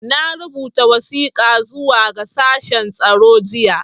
Na rubuta wasiƙa zuwa ga shashen tsaro jiya.